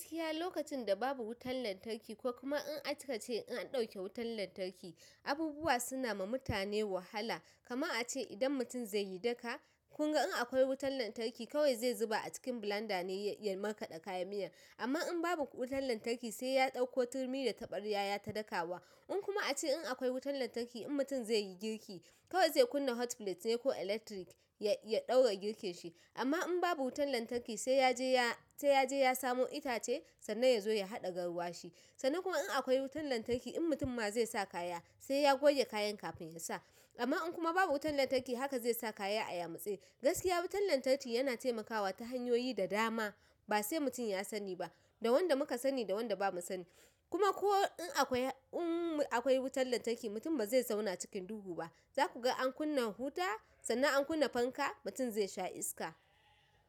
Gaskiya lokacin da babu wutan lantarki ko kuma in akace in an ɗauke wutan lantarki, abubuwa suna ma mutane wahala. Kaman ace idan mutum zai yi daka, kunga in akwai wutan lantarki ko kawai zai zuba a cikin blender ne ye markakada kayan miyan amma in babu wutan lantarki sai ya ɗauko turmi da taɓaryaya ta daka wa. In kuma a ce in akwai wutan lantarki in mutum zai yi girki kawai zai kunna hotplate ne ko electric ya ɗaura girkin shi. Amma in babu wutan lantarki sai yaje ya, sai yaje ya samo itace sannan ya zo ya haɗa garwa shi. Sannan kuma in akwai wutan lantarki in mutum ma zai sa kaya sai ya goge kayan kafin ya sa. Amma in kuma babu wutan lantarki haka zai sa kaya a yamutse. Gaskiya wutan lantarki yana taimakawa ta hanyoyi da dama ba sai mutum ya sani ba, da wanda muka sani da wanda bamu sani. Kuma ko in akwai, in akwai wutan lantarki mutum ba zai zauna cikin duhu ba. Za ku ga an kunna huta sannan an kunna fanka mutum zai sha iska.